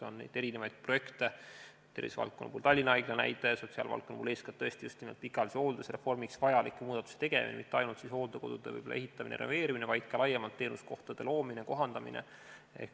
On erinevaid projekte, tervisevaldkonna puhul Tallinna Haigla näide, sotsiaalvaldkonna puhul eeskätt tõesti pikaajalise hoolduse reformiks vajaliku muudatuse tegemine – mitte ainult hooldekodude ehitamine ja renoveerimine, vaid ka laiemalt teenuskohtade loomine ja kohandamine.